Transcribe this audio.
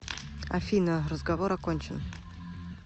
афина разговор окончен